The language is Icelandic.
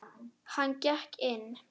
Hann gekk inn.